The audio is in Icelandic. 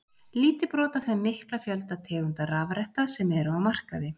Lítið brot af þeim mikla fjölda tegunda rafretta sem eru á markaði.